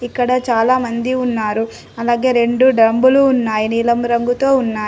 ఇక్కడ చాలామంది ఉన్నారు. అలాగే రెండు డంబులు ఉన్నాయి నీలం రంగుతో ఉన్నాయి.